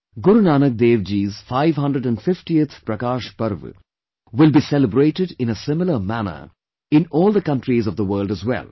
Guru Nanak Dev Ji's 550th Prakash Parv will be celebrated in a similar manner in all the countries of the world as well